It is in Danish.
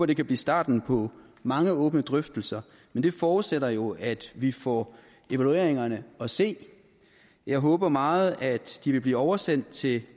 det kan blive starten på mange åbne drøftelser men det forudsætter jo at vi får evalueringerne at se jeg håber meget at de vil blive oversendt til